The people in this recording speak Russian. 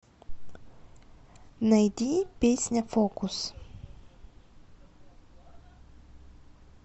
найди песня фокус